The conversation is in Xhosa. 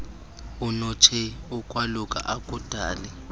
unotshei ukwaluka akudali